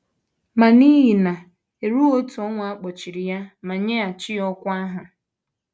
Ma n’ihe na - erughị otu ọnwa a kpọghachiri ya ma nyeghachi ya ọkwá ahụ.